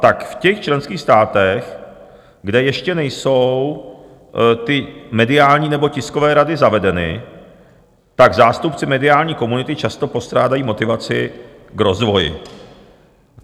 Tak v těch členských státech, kde ještě nejsou ty mediální nebo tiskové rady zavedeny, tak zástupci mediální komunity často postrádají motivaci k rozvoji.